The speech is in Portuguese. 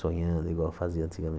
sonhando igual eu fazia